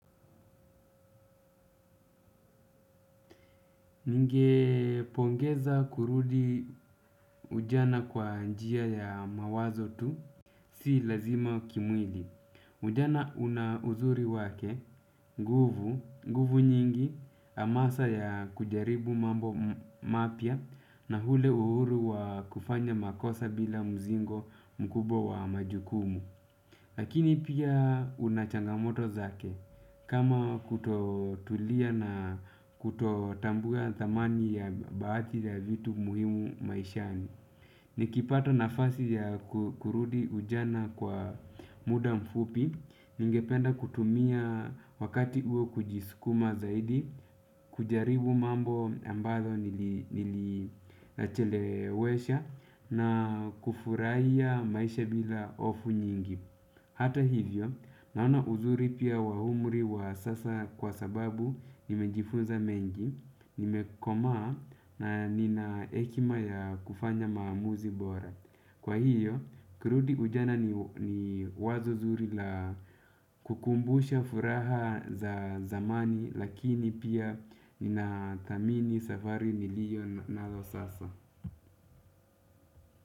Ninge pongeza kurudi ujana kwa njia ya mawazo tu, si lazima kimwili. Ujana una uzuri wake, nguvu, nguvu nyingi, hamasa ya kujaribu mambo mapya na ule uhuru wa kufanya makosa bila mzigo mkubwa wa majukumu. Lakini pia unachangamoto zake kama kutotulia na kutotambuwa thamani bahati ya vitu muhimu maishani. Nikipata nafasi ya kurudi ujana kwa muda mfupi, ningependa kutumia wakati huo kujisikuma zaidi, kujaribu mambo ambazo nilichelewesha na kufurahia maisha bila hofu nyingi. Hata hivyo, naona uzuri pia wa umri wa sasa kwa sababu nimejifunza mengi, nimekomaa na ninahekima ya kufanya maamuzi bora. Kwa hiyo, kurudi ujana ni wazo zuri la kukumbusha furaha za zamani lakini pia nina thamini safari niliyonayo sasa.